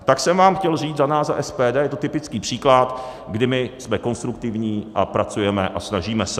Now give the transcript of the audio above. Tak jsem vám chtěl říct za nás za SPD, je to typický příklad, kdy my jsme konstruktivní a pracujeme a snažíme se.